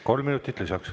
Kolm minutit lisaks.